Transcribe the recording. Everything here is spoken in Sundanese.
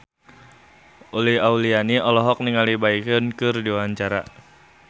Uli Auliani olohok ningali Baekhyun keur diwawancara